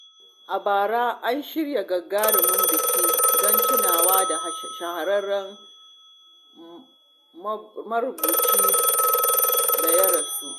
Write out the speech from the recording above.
A bara, an shirya gagarumin biki don tunawa da shahararren marubucin da ya rasu.